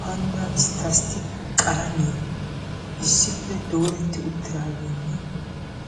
"Panddaa isttastik qalamiya" issippe dooretti uttidaagenne